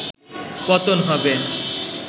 পতন হবে